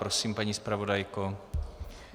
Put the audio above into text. Prosím, paní zpravodajko.